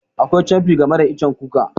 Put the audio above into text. Akwai camfi game da icen kuka.